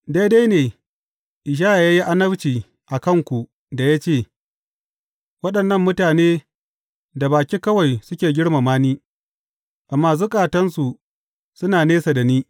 Daidai ne Ishaya ya yi annabci a kanku da ya ce, Waɗannan mutane da baki kawai suke girmama ni, amma zukatansu suna nesa da ni.